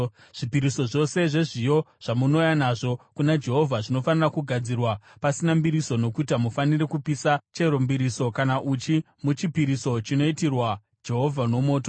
“ ‘Zvipiriso zvose zvezviyo zvamunouya nazvo kuna Jehovha zvinofanira kugadzirwa pasina mbiriso nokuti hamufaniri kupisa chero mbiriso kana uchi muchipiriso chinoitirwa Jehovha nomoto.